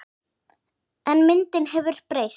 En myndin hefur breyst.